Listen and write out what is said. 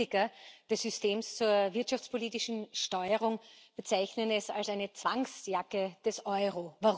Viele Kritiker des Systems zur wirtschaftspolitischen Steuerung bezeichnen es als eine Zwangsjacke des Euro.